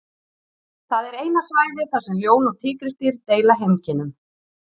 Það er eina svæðið þar sem ljón og tígrisdýr deila heimkynnum.